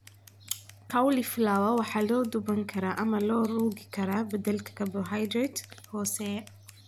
Cauliflower waa la duban karaa ama loo rogi karaa beddelka karbohaydrayt hooseeya.